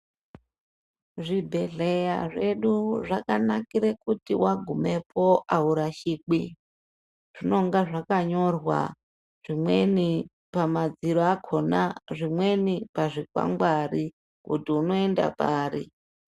Zvibhehleya zvedu zvakanakire kuti wagumepo awurashiki. Zvinenge zvakanyorwa zvimweni pamadziro akona zvimweni pazvikwangwari kuti unoenda pari.